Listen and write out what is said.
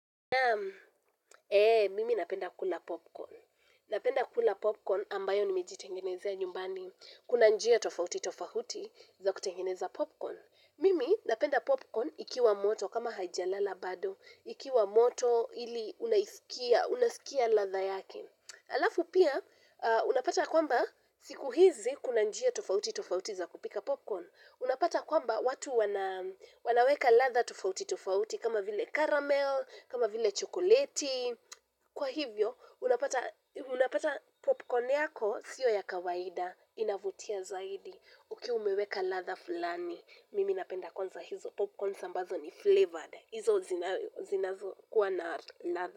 Naam mimi napenda kula popcorn. Napenda kula popcorn ambayo nimejitengenezea nyumbani. Kuna njia tofauti tofauti za kutengeneza popcorn. Mimi napenda popcorn ikiwa moto kama haijalala bado. Ikiwa moto ili unaisikia, unasikia radha yake. Alafu pia, unapata kwamba siku hizi kuna njia tofauti tofauti za kupika popcorn. Unapata kwamba watu wanaweka radha tofauti tofauti kama vile caramel, kama vile chocolate, kwa hivyo unapata popcorn yako sio ya kawaida inavutia zaidi ukiwa umeweka radha fulani mimi napenda kwanza hizo popcorns ambazo ni flavored hizo zinazo kuwa na radha.